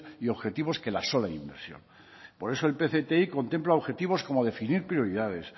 y objetivos que la sola inversión por eso el pcti contempla objetivos como definir prioridades